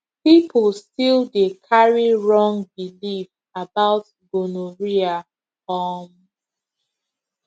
people still dey carry wrong belief about gonorrhea um